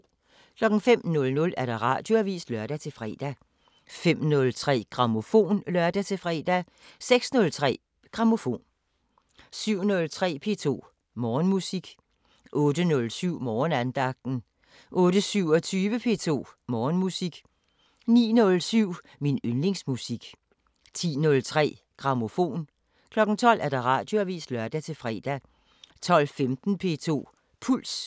05:00: Radioavisen (lør-fre) 05:03: Grammofon (lør-fre) 06:03: Grammofon 07:03: P2 Morgenmusik 08:07: Morgenandagten 08:27: P2 Morgenmusik 09:07: Min yndlingsmusik 10:03: Grammofon 12:00: Radioavisen (lør-fre) 12:15: P2 Puls